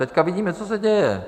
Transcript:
Teď vidíme, co se děje.